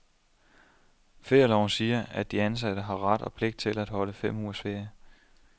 Ferieloven siger, at de ansatte har ret og pligt til at holde fem ugers ferie.